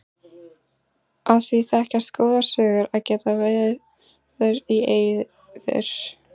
Af því þekkjast góðar sögur að geta verður í eyður.